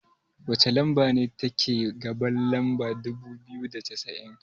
wacce lamba ce take gaban lamba dubu biyu da cassa'in?